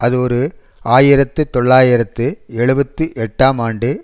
அது ஓரு ஆயிரத்து தொள்ளாயிரத்து எழுபத்து எட்டாம் ஆண்டு